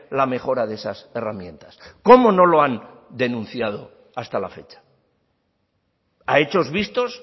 la mejora de esas herramientas cómo no lo han denunciado hasta la fecha a hechos vistos